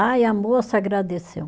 Ah e a moça agradeceu.